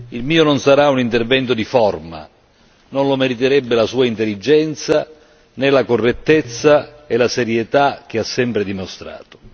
Il mio non sarà un intervento di forma, non lo meriterebbe la sua intelligenza, né la correttezza e la serietà che ha sempre dimostrato.